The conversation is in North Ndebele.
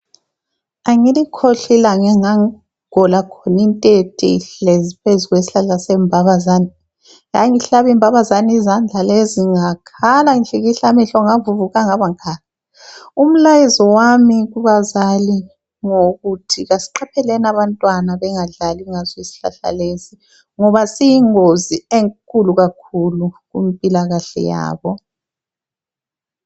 Angilikhohlwa ilanga enga gola khona intethe ihlezi phezu kwesihlahla sembabazane yangihlaba imbabazane izandla lezi, ngakhala ngihlikihla amehlo ngavuvuka ngabangaka, umlayezo wami kubazali ngowokuthi asiqapheleni abantwana bengadlali ngaso isihlahla lesi ngoba siyingozi enkulu kakhulu kumpilakahle yabo.